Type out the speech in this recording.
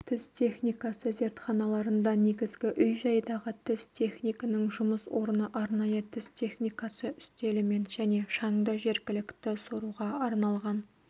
тіс техникасы зертханаларында негізгі үй-жайдағы тіс технигінің жұмыс орны арнайы тіс техникасы үстелімен және шаңды жергілікті соруға арналған